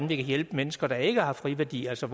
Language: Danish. hjælpe mennesker der ikke har friværdi altså